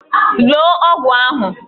Loo ọgwụ ahụ!